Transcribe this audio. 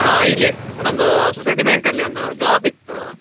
ಹಾ ಇಲ್ಲೇ ನಮ್ದು society bank ಅಲ್ಲಿ ಒಂದು job ಇತ್ತು.